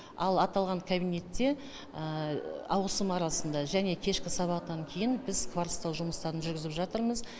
ал аталған кабинетте ауысым арасында және кешкі сабақтан кейін біз кварцтау жұмыстарын жүргізіп жатырмыз